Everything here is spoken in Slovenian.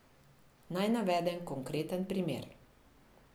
Naj navedem konkreten primer.